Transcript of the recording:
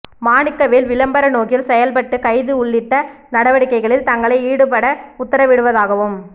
மாணிக்கவேல் விளம்பர நோக்கில் செயல்பட்டு கைது உள்ளிட்ட நடவடிக்கைகளில் தங்களை ஈடுபட உத்தரவிடுவதாகவும்